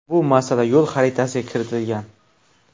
Bu masala yo‘l xaritasiga kiritilgan.